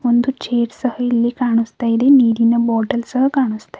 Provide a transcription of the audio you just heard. ಒಂದು ಚೇರ್ ಸಹಾ ಇಲ್ಲಿ ಕಾಣುಸ್ತಾಯಿದೆ ನೀರಿನ ಬಾಟಲ್ ಸಹಾ ಕಾಣುಸ್ತಾಇದೆ.